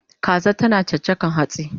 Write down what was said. Kaza tana chachakan hatsi